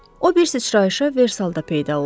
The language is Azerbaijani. O bir sıçrayışa Versalda peyda oldu.